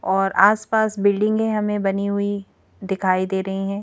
और आसपास बिल्डिंगें हमें बनी हुई दिखाई दे रही हैं।